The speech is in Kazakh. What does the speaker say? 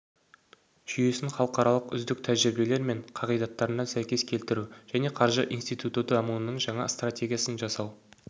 жүйесін халықаралық үздік тәжірибелер мен қағидаттарына сәйкес келтіру және қаржы институты дамуының жаңа стратегиясын жасау